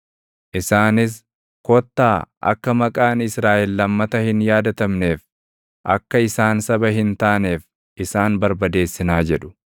Isaanis, “Kottaa akka maqaan Israaʼel lammata hin yaadatamneef, akka isaan saba hin taaneef isaan barbadeessinaa” jedhu.